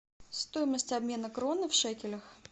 стоимость обмена кроны в шекелях